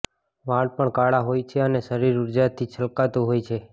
વાળ પણ કાળા હોય છે અને શરીર ઊર્જાથી છલકાતું હોય છે